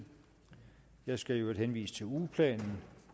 jeg skal i øvrigt henvise til ugeplanen